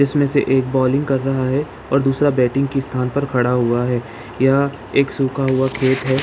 इसमें से एक बॉलिंग कर रहा है और दूसरा बैटिंग के स्थान पर खड़ा हुआ है यह सूखा हुआ खेत है।